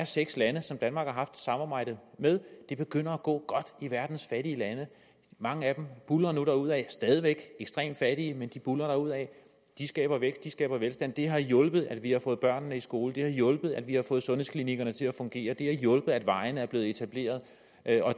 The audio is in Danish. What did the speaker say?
seks lande som danmark har haft et samarbejde med det begynder at gå godt i verdens fattige lande mange af dem buldrer nu derudad stadig væk ekstremt fattige men de buldrer derudad de skaber vækst de skaber velstand det har hjulpet at vi har fået børnene i skole det har hjulpet at vi har fået sundhedsklinikkerne til at fungere det har hjulpet at vejene er blevet etableret og at